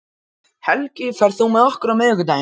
Helgi, ferð þú með okkur á miðvikudaginn?